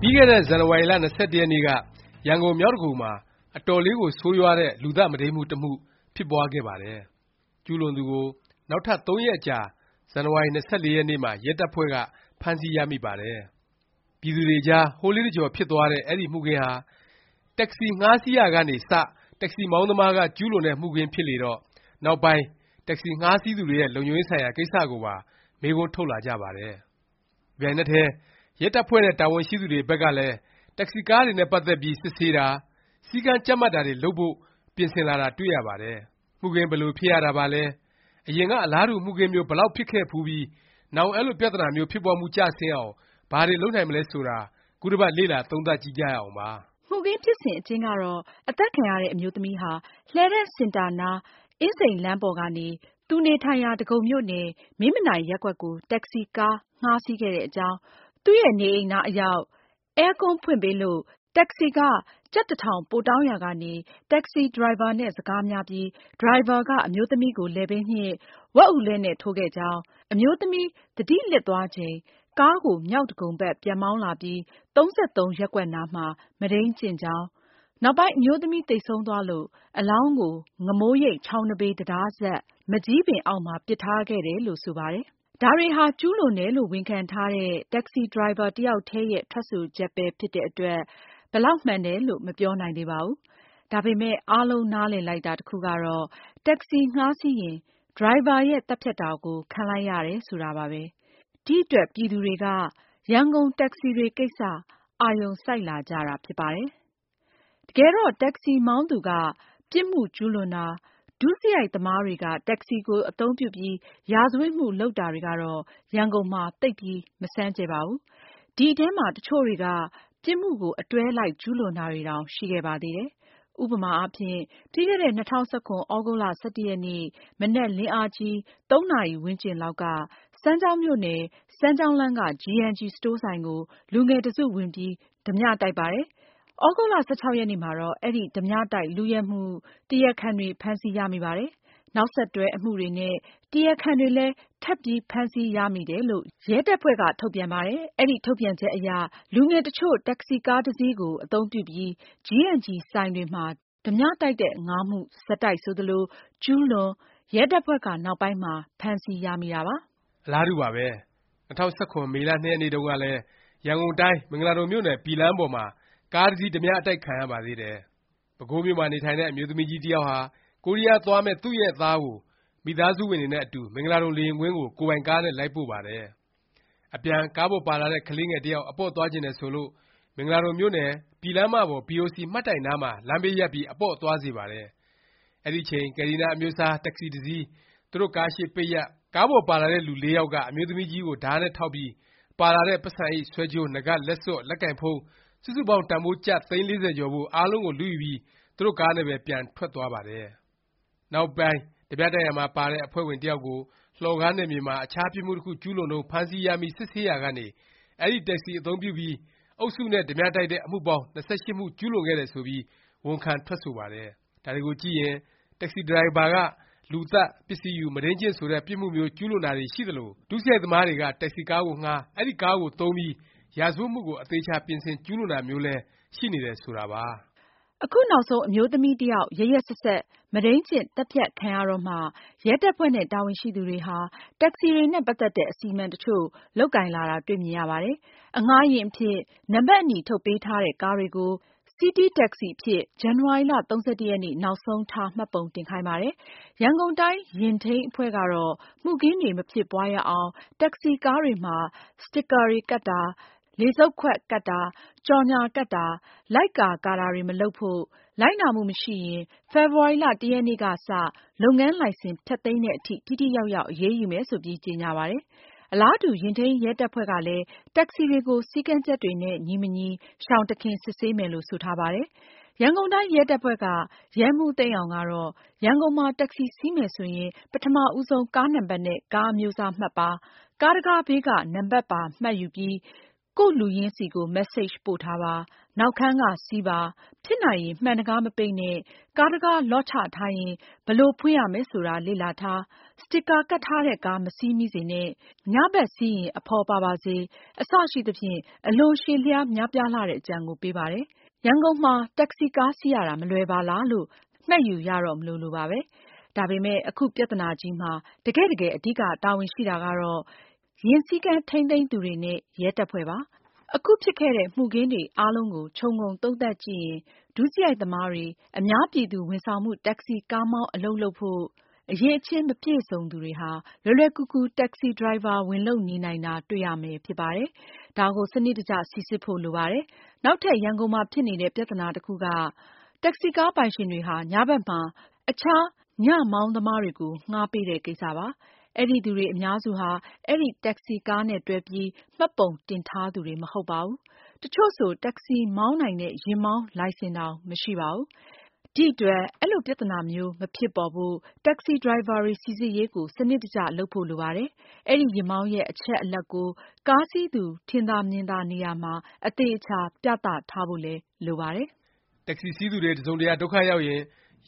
ပြီးခဲ့တဲ့ ဇန်နဝါရီလ ၂၁ ရက်နေ့က ရန်ကုန် မြောက်ဒဂုံမှာ အတော်လေးကို ဆိုးရွားတဲ့ လူသတ် မုဒိန်းမှု တစ်မှု ဖြစ်ပွားခဲ့ပါတယ်။ ကျူးလွန်သူကို နောက်ထပ် ၃ ရက်အကြာ ဇန်နဝါရီ ၂၄ ရက်နေ့မှာ ရဲတပ်ဖွဲ့က ဖမ်းဆီးရမိပါတယ်။ ပြည်သူတွေအကြား ဟိုးလေးတစ်ကြော် ဖြစ်သွားတဲ့ အဲဒီမှုခင်းဟာ တက္ကစီ ငှားစီးရာကနေ စ တက္ကစီ မောင်းသမားက ကျူးလွန်တဲ့ မှုခင်းဖြစ်နေလေတော့ နောက်ပိုင်း တက္ကစီ ငှားစီးသူတွေရဲ့ လုံခြုံရေးဆိုင်ရာ ကိစ္စကိုပါ မေးခွန်း ထုတ်လာကြပါတယ်။ တစ်ပြိုင်နက်တည်း ရဲတပ်ဖွဲ့နဲ့ တာဝန်ရှိသူတွေဘက်ကလည်း တက္ကစီ ကားတွေနဲ့ ပတ်သက်ပြီး စစ်ဆေးတာ၊ စည်းကမ်းကြပ်မတ်တာတွေ လုပ်ဖို့ ပြင်ဆင်လာတာ တွေ့ရပါတယ်။ မှုခင်း ဘယ်လို ဖြစ်ရတာပါလဲ၊ အရင်က အလားတူ မှုခင်းမျိုး ဘယ်လောက် ဖြစ်ခဲ့ဖူးပြီး နောင် အဲလိုပြသနာမျိုး ဖြစ်ပွားမှု ကျဆင်းအောင် ဘာတွေ လုပ်နိုင်မလဲ ဆိုတာ ခုတစ်ပတ် လေ့လာ သုံးသပ်ကြည့်ကြရအောင်ပါ။ မှုခင်းဖြစ်စဉ် အကျဉ်းကတော့ အသတ်ခံရတဲ့ အမျိုးသမီးဟာ လှည်းတန်းစင်တာနား အင်းစိန်လမ်းပေါ်ကနေ သူနေထိုင်ရာ ဒဂုံမြို့နယ် မင်းမနိုင်ရပ်ကွက်ကို တက္ကစီကား ငှားစီးခဲ့တဲ့အကြောင်း၊ သူ့နေအိမ်အနား အရောက်မှာ အဲကွန်းဖွင့်ပေးလို့ တက္ကစီခ ကျပ် ၁၀၀၀ ပိုတောင်းရာကနေ တက္ကစီ ဒရိုင်ဘာနဲ့ စကားများပြီး ဒရိုင်ဘာက အမျိုးသမီးကို လည်ပင်းညှစ်၊ ဝက်အူလှည့်နဲ့ ထိုးခဲ့ကြောင်း၊ အမျိုးသမီး သတိလစ်သွားချိန် ကားကို မြောက်ဒဂုံဘက် ပြန်မောင်းလာပြီး ၃၃ ရပ်ကွက်နားမှာ မုဒိန်းကျင့်ကြောင်း၊ နောက်ပိုင်း အမျိုးသမီး သေဆုံးသွားလို့ အလောင်းကို ငမိုးရိပ် ချောင်းနံဘေး တံတားအစပ် မန်ကျည်းပင် အောက်မှာ ပစ်ထားခဲ့တယ်လို့ ဆိုပါတယ်။ ဒါတွေဟာ ကျူးလွန်တယ်လို့ ဝန်ခံထားတဲ့ တက္ကစီ ဒရိုင်ဘာ တစ်ယောက်တည်းရဲ့ ထွက်ဆိုချက်ပဲ ဖြစ်တဲ့အတွက် ဘယ်လောက်မှန်တယ်လို့ မပြောနိုင်သေးပါဘူး။ ဒါပေမယ့် အားလုံး နားလည်လိုက်တာ တစ်ခုကတော့ တက္ကစီ ငှားစီးရင်း ဒရိုင်ဘာရဲ့ သတ်ဖြတ်တာ ခံလိုက်ရတယ် ဆိုတာပါပဲ။ ဒီ အတွက် ပြည်သူတွေက ရန်ကုန်တက္ကစီတွေကိစ္စ အာရုံစိုက်လာကြတာ ဖြစ်ပါတယ်။ တကယ်တော့ တက္ကစီ မောင်းသူက ပြစ်မှု ကျူးလွန်တာ၊ ဒုစရိုက်သမားတွေက တက္ကစီကို အသုံးပြုပြီး ရာဇဝတ်မှု လုပ်တာတွေကတော့ ရန်ကုန်မှာ သိပ်ပြီး မဆန်းကြယ်ပါဘူး။ ဒီထဲမှာ တချို့တွေက ပြစ်မှုကို အတွဲလိုက် ကျူးလွန်တာတွေတောင် ရှိခဲ့ပါသေးတယ်။ ဥပမာအားဖြင့် ပြီးခဲ့တဲ့ ၂၀၁၇ သြဂုတ်လ ၁၁ ရက်နေ့ မနက်လင်းအားကြီး ၃ နာရီဝန်းကျင်လောက်က စမ်းချောင်းမြို့နယ်၊ စမ်းချောင်းလမ်းက g&g စတိုးဆိုင်ကို လူငယ်တစ်စု ဝင်ပြီး ဓားပြတိုက်ပါတယ်။ သြဂုတ်လ ၁၆ ရက်နေ့မှာတော့ အဲဒီ ဓားပြတိုက် လုယက်မှု တရားခံတွေဖမ်းဆီးရမိပါတယ်၊ နောက်ဆက်တွဲ အမှုတွေနဲ့ တရားခံတွေလည်း ထပ်ပြီး ဖမ်းဆီးရမိတယ်လို့ ရဲတပ်ဖွဲ့က ထုတ်ပြန်ပါတယ်။ အဲဒီထုတ်ပြန်ချက်အရ လူငယ်တစ်ချို့ တက္ကစီကားတစ်စီးကို အသုံးပြုပြီး g&g ဆိုင် တွေမှာ ဓားပြတိုက်မှု ၅ မှု ဆက်တိုက်ဆိုသလိုကျူးလွန်၊ ရဲတပ်ဖွဲ့က နောက်ပိုင်းမှ ဖမ်းဆီးရမိတာပါ။ အလားတူပါပဲ။ ၂၀၁၇ မေလ ၂ ရက်နေ့တုန်းကလည်း ရန်ကုန်တိုင်း၊ မင်္ဂလာဒုံမြို့နယ် ပြည်လမ်းပေါ်မှာ ကားတစ်စီး ဓားပြ အတိုက်ခံရပါသေးတယ်။ ပဲခူးမြို့မှာ နေထိုင်တဲ့ အမျိုးသမီးကြီး တစ်ယောက်ဟာ ကိုရီးယားသွားမယ့် သူ့ရဲ့ သားကို မိသားစုဝင်တွေနဲ့အတူ မင်္ဂလာဒုံ လေယာဉ်ကွင်းကို ကိုယ်ပိုင်ကားနဲ့ လိုက်ပို့ပါတယ်။ အပြန် ကားပေါ်ပါလာတဲ့ ကလေးငယ် တစ်ယောက် အပေါ့သွားချင်တယ် ဆိုလို့ မင်္ဂလာဒုံမြို့နယ်၊ ပြည်လမ်းမပေါ် ဘီအိုစီ မှတ်တိုင်နားမှာ လမ်းဘေးရပ်ပြီး အပေါ့သွားစေပါတယ်။ အဲဒီအချိန် ကယ်လ်ဒီနား အမျိုးအစား တက္ကစီ တစ်စီး သူတို့ကားရှေ့ ပိတ်ရပ်၊ ကားပေါ်ပါတဲ့ လူ ၄ ယောက်က အမျိုးသမီးကြီးကို ဓားနဲ့ထောက်ပြီး ပါလာတဲ့ ပိုက်ဆံအိတ်၊ ဆွဲကြိုး၊ နားကပ်၊ လက်စွပ်၊ လက်ကိုင်ဖုန်း စုစုပေါင်း တန်ဘိုး ကျပ် သိန်း ၄၀ ကျော်ဖိုး၊ အားလုံးကို လုယူပြီး သူတို့ကားနဲ့ပဲ ပြန်ထွက်သွားပါတယ်။ နောက်ပိုင်း ဓားပြတိုက်ရာမှာ ပါတဲ့ အဖွဲ့ဝင်တစ်ယောက်ကို လှော်ကားနယ်မြေမှာ အခြား ပြစ်မှုတစ်ခု ကျူးလွန်တုန်း ဖမ်းဆီးရမိ စစ်ဆေးရာကနေ အဲဒီ တက္ကစီ အသုံးပြုပြီး အုပ်စုနဲ့ ဓားပြတိုက်တဲ့ အမှုပေါင်း ၂၈ မှု ကျူးလွန်ခဲ့တယ် ဆိုပြီး ဝန်ခံ ထွက်ဆိုပါတယ်။ ဒါတွေကိုကြည့်ရင် တက္ကစီ ဒရိုင်ဘာက လူသတ်၊ ပစ္စည်းယူ၊ မုဒိန်းကျင့် ဆိုတဲ့ ပြစ်မှုမျိုး ကျူးလွန်တာတွေ ရှိသလို၊ ဒုစရိုက်သမားတွေက တက္ကစီကားကိုငှား၊ အဲဒီ ကားကိုသုံးပြီး ရာဇဝတ်မှုကို အသေအခြာ ပြင်ဆင် ကျူးလွန်တာမျိုးလည်း ရှိနေတယ် ဆိုတာပါ။ အခုနောက်ဆုံး အမျိုးသမီးတစ်ယောက် ရက်ရက်စက်စက် မုဒိန်းကျင့် သတ်ဖြတ်ခံရတော့မှ ရဲတပ်ဖွဲ့နဲ့ တာဝန်ရှိသူတွေဟာ တက္ကစီတွေနဲ့ ပတ်သက်တဲ့ အစီအမံ တစ်ချို့ လုပ်ကိုင်လာတာ တွေ့မြင်ရပါတယ်။ အငှားယာဉ်အဖြစ် နံပတ်အနီ ထုတ်ပေးထားတဲ့ ကားတွေကို စီးတီးတက္ကစီ အဖြစ် ဇန်နဝါရီ ၃၁ နောက်ဆုံးထား မှတ်ပုံတင်ခိုင်းပါတယ်။ ရန်ကုန်တိုင်း ယာဉ်ထိန်း အဖွဲ့ကတော့ မှုခင်းတွေ မဖြစ်ပွားရအောင် တက္ကစီကားတွေမှာ စတေကာ ကပ်တာ၊ လေစုတ်ခွက်ကပ်တာ၊ ကြော်ငြာကပ်တာ၊ လိုက်ကာ ကာတာတွေ မလုပ်ဖို့၊ လိုက်နာမှု မရှိရင် ဖေဖေါ်ဝါရီ ၁ ရက်နေ့ကစ လုပ်ငန်းလိုင်စင် ဖျက်သိမ်းသည် အထိ ထိထိရောက်ရောက် အရေးယူမယ် ဆိုပြီး ကြေငြာပါတယ်။ အလားတူ ယာဉ်ထိန်းရဲ တပ်ဖွဲ့ကလည်း တက္ကစီတွေကို စည်းကမ်းချက်တွေနဲ့ ညီမညီ ရှောင်တစ်ခင် စစ်ဆေးမယ်လို့ ဆိုထားပါတယ်။ ရန်ကုန်တိုင်း ရဲတပ်ဖွဲ့က ရဲမှူးသိန်းအောင် ကတော့ ရန်ကုန်မှာ တက္ကစီ စီးမယ်ဆိုရင် ပထမ ဦးဆုံး ကားနံပတ်နဲ့ ကားအမျိုးအစားမှတ်ပါ၊ ကားတံခါးဘေးက နံပတ်ပါမှတ်ပြီး ကိုယ့်လူရင်းဆီကို message ပို့ထားပါ။ နောက်ခန်းက စီးပါ။ ဖြစ်နိုင်ရင် မှန်တံခါး မပိတ်နဲ့၊ ကားတံခါး လော့ချ် ချထားရင် ဘယ်လို ဖွင့်ရမယ် ဆိုတာ လေ့လာထား။ စတစ်ကာ ကပ်ထားတဲ့ကား မစီးမိစေနဲ့။ ည စီးရင် အဖော်ပါပါစေ။ အစရှိသဖြင့် အလွန် ရှည်လျားများပြားလှတဲ့ အကြံကို ပေးပါတယ်။ ရန်ကုန်မှာ တက္ကစီကား စီးရတာ မလွယ်ပါလားလို့ မှတ်ယူရမလိုလိုပါပဲ။ ဒါပေမယ့် အခု ပြသနာကြီးမှာ တကယ့်တကယ် အဓိက တာဝန်ရှိတာကတော့ ယာဉ်စည်းကမ်း ထိန်းသိမ်းသူတွေနဲ့ ရဲတပ်ဖွဲ့ပါ။ အခု ဖြစ်ခဲ့တဲ့ မှုခင်းတွေ အားလုံးကို ခြုံငုံသုံးသပ်ကြည့်ရင် ဒုစရိုက်သမားတွေ၊ အများပြည်သူ ဝန်ဆောင်မှု တက္ကစီ ကားမောင်း အလုပ် လုပ်ဖို့ အရည်အချင်း မပြည့်စုံသူတွေဟာ လွယ်လွယ်ကူကူ တက္ကစီ ဒရိုင်ဘာ ဝင် လုပ်နေနိုင်တာ တွေ့ရမယ် ဖြစ်ပါတယ်။ ဒါကို စနစ်တကျ စိစစ်ဖို့ လိုပါတယ်။ နောက်ထပ် ရန်ကုန်မှာ ဖြစ်နေတဲ့ ပြသနာ တစ်ခုက တက္ကစီကား ပိုင်ရှင်တွေဟာ ည ဘက်မှာ သူတို့ကားကို အခြား ညမောင်းသမားတွေကို ငှားပေးတဲ့ ကိစ္စပါ။ အဲဒီသူတွေ အများစုဟာ အဲဒီ တက္ကစီကားနဲ့ တွဲပြီး မှတ်ပုံတင်ထားသူတွေ မဟုတ်ပါဘူး။ တစ်ချို့ဆို တက္ကစီ မောင်းနိုင်တဲ့ ယာဉ်မောင်းလိုင်စင်တောင် မရှိပါဘူး။ ဒီအတွက် အဲလို ပြသနာမျိုး မဖြစ်ပေါ်ဖို့ တက္ကစီ ဒရိုင်ဘာတွေ စိစစ်ရေးကို စနစ်တကျ လုပ်ဖို့ လိုပါတယ်။ အဲဒီ ယာဉ်မောင်းရဲ့ အချက်အလက်ကို ကားစီးသူ ထင်သာမြင်သာ နေရာမှာ အသေအခြာ ပြသထားဖို့လည်း လိုပါတယ်။ တက္ကစီ စီးသူတွေ တစ်စုံတစ်ရာ ဒုက္ခရောက်ရင်